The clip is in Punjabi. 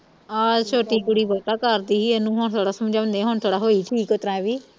ਆਹ ਛੋਟੀ ਕੁੜੀ ਬਹੁਤਾ ਕਰਦੀ ਹੀ ਇਹਨੂੰ ਹੁਣ ਥੋੜਾ ਸਮਝਾਉਂਦੇ ਹੁਣ ਥੋੜਾ ਹੋਈ ਠੀਕ ਇਸ ਤਰ੍ਹਾਂ ਹੈ ਵੀ